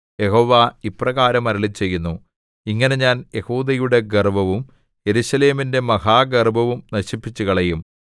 യഹോവ ഇപ്രകാരം അരുളിച്ചെയ്യുന്നു ഇങ്ങനെ ഞാൻ യെഹൂദയുടെ ഗർവ്വവും യെരൂശലേമിന്റെ മഹാഗർവ്വവും നശിപ്പിച്ചുകളയും